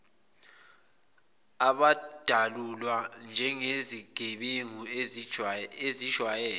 abadalulwa njengezigebengu ezijwayele